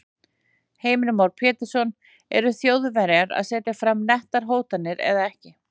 Heimir Már Pétursson: Eru Þjóðverjar að setja fram nettar hótanir eða ekki?